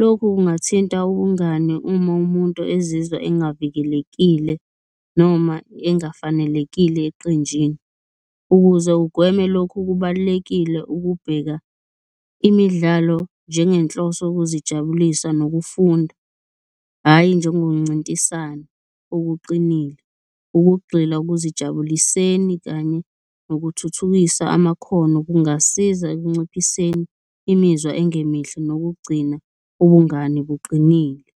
Lokhu kungathinta ubungani uma umuntu ezizwa angavikelekile noma engafanelekile eqenjini. Ukuze ugweme lokhu kubalulekile ukubheka imidlalo njengenhloso yokuzijabulisa nokufunda, hhayi njengokuncintisana okuqinile. Ukugxila okuzijabuliseni kanye nokuthuthukisa amakhono kungasiza ekunciphiseni imizwa engemihle nokugcina ubungani buqinile.